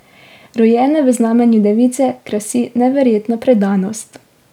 Rojene v znamenju device krasi neverjetna predanost.